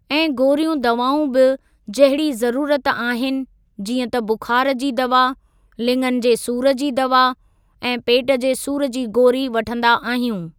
ऐं गोरीयूं दवाउं बि जहिड़ी ज़रुरत आहिनि जीअं त बुखार जी दवा ,लिंङनि जे सूर जी दवा ऐं पेट जे सूर जी गोरी वठंदा आहियूं।